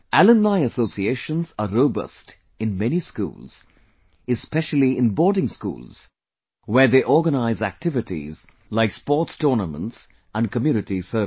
Alumni associations are robust in many schools, especially in boarding schools, where they organize activities like sports tournaments and community service